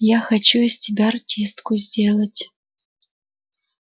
я хочу из тебя артистку сделать